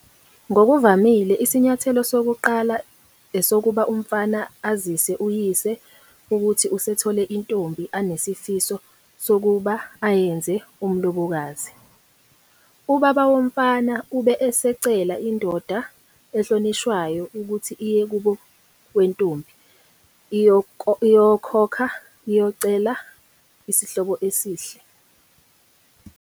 Ngokuvamile, isinyathelo sokuqala esokuba umfana azise uyise ukuthi usethole intombi anesifiso sokuba ayenze umlobokazi. Ubaba womfana ube esecela indoda ehlonishwayo ukuthi iye kubo wentombi iyokokha iyocela isihlobo esihle.